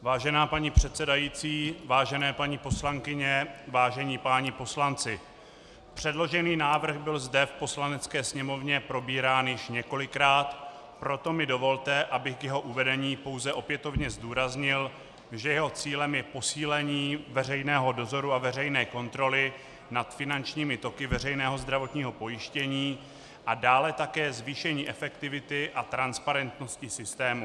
Vážená paní předsedající, vážené paní poslankyně, vážení páni poslanci, předložený návrh byl zde v Poslanecké sněmovně probírán již několikrát, proto mi dovolte, abych k jeho uvedení pouze opětovně zdůraznil, že jeho cílem je posílení veřejného dozoru a veřejné kontroly nad finančními toky veřejného zdravotního pojištění a dále také zvýšení efektivity a transparentnosti systému.